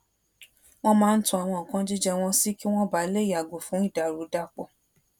wón máa ń to àwọn nǹkan jíjẹ wón sí kí wón bàa lè yàgò fún ìdàrúdàpò